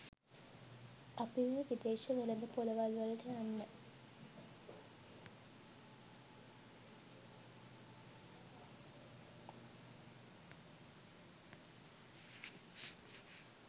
අපි මේ විදේශ වෙළෙඳ ‍පොළවල්වලට යන්න